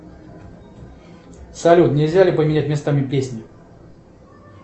салют нельзя ли поменять местами песни